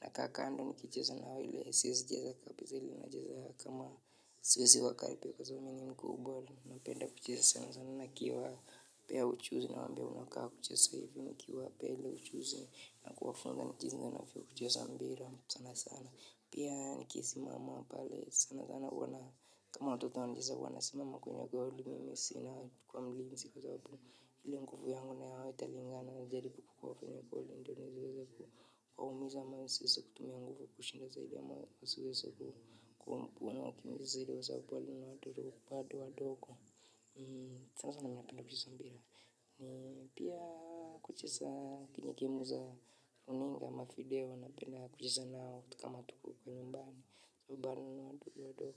Nakaa kando nikicheza na hao ile siwezi cheza kabiza ile nacheza kama siwezi wakaribia kwa sababu mimi ni mkubwa. Napenda kucheza sana sana nikiwapea ujuzi nawaambia unakaa kucheza hivi, nikiwapa ile ujuzi na kuwafunza jinsi ninavyocheza mpira, sana sana. Pia nikisimama pale sana sana huwa na kama watoto wanacheza huwa nasimama kwenye goli nakuwa mlinzi kwa sababu ile nguvu yangu na yao haitalingana najaribu kukuwa kwenye goli ndiyo niseweze waumiza ama nisiweze kutumia nguvu kushinda zaidi ama usiweze kuwakimbiza zaidi kwa sababu wale ni watu wadogo. Sana sana mimi napenda kucheza mpira. Ni pia kucheza kwenye game za runinga ama video napenda kucheza nao kama tuko nymbani sababu bado ni watoto.